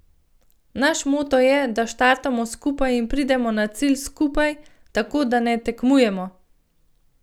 Naš moto je, da štartamo skupaj in pridemo na cilj skupaj, tako da ne tekmujemo.